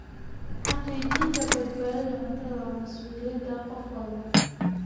Xaqiijinta badbaadada cuntadu waa mas'uuliyadda qof walba.